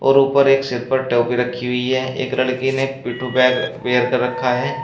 और ऊपर एक सिर पर टोपी रखी हुई है एक लड़की ने पिट्ठू बैग वेयर कर रखा है।